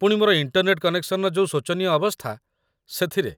ପୁଣି ମୋର ଇଣ୍ଟର୍ନେଟ କନେକ୍ସନର ଯୋଉ ଶୋଚନୀୟ ଅବସ୍ଥା, ସେଥିରେ।